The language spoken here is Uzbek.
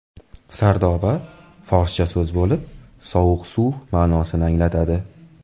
Sardoba – forscha so‘z bo‘lib, sovuq suv ma’nosini anglatadi.